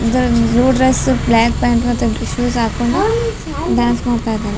ಇದ್ರಲ್ blue dress black pant ಮತ್ತೆ ಇಬ್ರು shoes ಹಾಕೊಂಡು ಡಾನ್ಸ್ ಮಾಡ್ತಾ ಇದ್ದಾರೆ.